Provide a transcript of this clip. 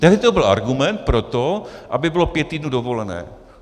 Tehdy to byl argument pro to, aby bylo pět týdnů dovolené.